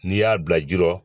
N'i y'a bila ji la